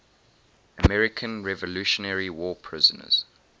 american revolutionary war prisoners